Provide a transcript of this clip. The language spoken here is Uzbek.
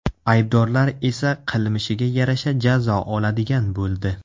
Aybdorlar esa qilmishiga yarasha jazo oladigan bo‘ldi.